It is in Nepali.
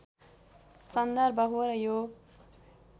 सन्दर्भ हो र यो